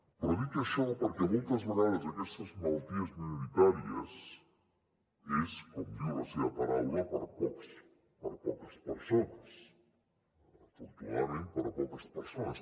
però dic això perquè moltes vegades aquestes malalties minoritàries són com diu la seva paraula per a poques persones afortunadament per a poques persones